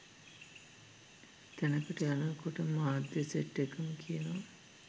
තැනකට යනකොට මාධ්‍ය සෙට් එකටම කියනවා.